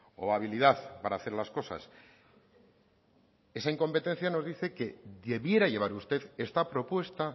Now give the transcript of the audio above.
o habilidad para hacer las cosas esa incompetencia nos dice que debiera llevar usted esta propuesta